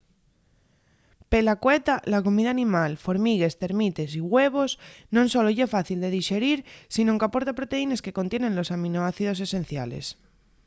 pela cueta la comida animal formigues termites güevos non solo ye fácil de dixerir sinón qu’aporta proteínes que contienen los aminoácidos esenciales